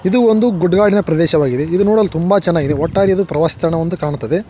ಇದು ಒಂದು ಗುಡ್ಡಗಾಡಿನ ಪ್ರದೇಶವಾಗಿದೆ ಇದು ನೋಡಲು ತುಂಬ ಚೆನ್ನಾಗಿದೆ ಒಟ್ಟಾರೆ ಇದು ಪ್ರವಾಸಿ ತಾಣ ಎಂದು ಕಾಣ್ತದೆ.